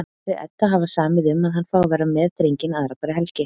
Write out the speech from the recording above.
Þau Edda hafa samið um að hann fái að vera með drenginn aðra hverja helgi.